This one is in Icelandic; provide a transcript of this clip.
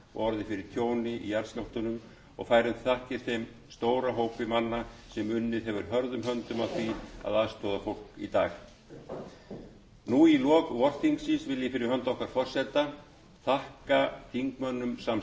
og orðið fyrir tjóni í jarðskjálftunum og færum þakkir þeim stóra hópi manna sem unnið hefur hörðum höndum að því að aðstoða fólk í dag nú í lok vorþingsins vil ég fyrir hönd forseta þakka þingmönnum